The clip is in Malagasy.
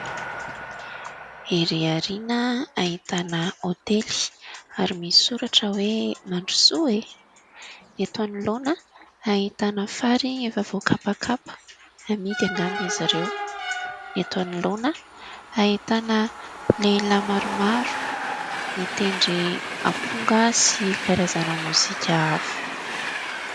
Ery aoriana ahitana hôtely ary misy soratra hoe "Mandrosoa e !". Ny eto anoloana ahitana fary efa voakapakapa, amidy angamba izy ireo. Eto anoloana ahitana lehilahy maromaro mitendry amponga sy karazana mozika hafa.